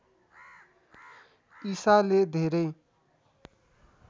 ईसाले धेरै